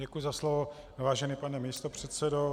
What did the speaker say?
Děkuji za slovo, vážený pane místopředsedo.